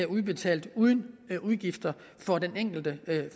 udbetalt uden udgifter for den enkelte